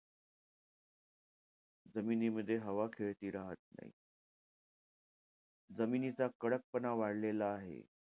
जमिनीमध्ये हवा खेळती राहत नाई. जमिनीचा कडकपणा वाढलेला आहे.